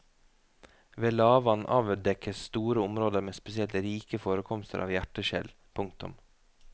Ved lavvann avdekkes store områder med spesielt rike forekomster av hjerteskjell. punktum